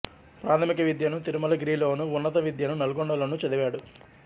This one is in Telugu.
ప్రాథమిక విద్యను తిరుమలగిరిలోనూ ఉన్నత విద్యను నల్గొండ లోనూ చదివాడు